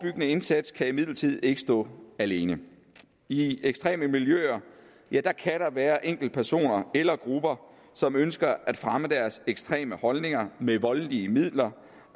indsats kan imidlertid ikke stå alene i ekstreme miljøer kan der være enkeltpersoner eller grupper som ønsker at fremme deres ekstreme holdninger med voldelige midler